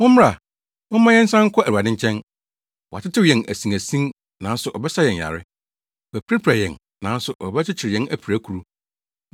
“Mommra, momma yɛnsan nkɔ Awurade nkyɛn. Watetew yɛn mu asinasin nanso ɔbɛsa yɛn yare. Wapirapira yɛn nanso ɔbɛkyekyere yɛn apirakuru.